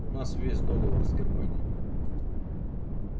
у нас ведь договор с германией